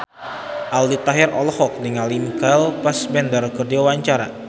Aldi Taher olohok ningali Michael Fassbender keur diwawancara